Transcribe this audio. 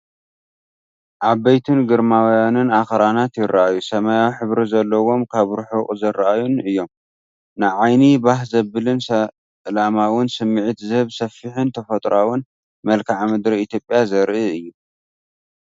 ዓበይትን ግርማውያንን ኣኽራናት ይረኣዩ፣ ሰማያዊ ሕብሪ ዘለዎምን ካብ ርሑቕ ዝረኣዩን እዮም። ንዓይኒ ባህ ዘብልን ሰላማውን ስምዒት ዝህብ ሰፊሕን ተፈጥሮኣዊን መልክዓ ምድሪ ኢትዮጵያ ዘርኢ እዩ፡፡